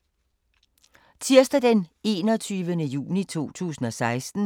Tirsdag d. 21. juni 2016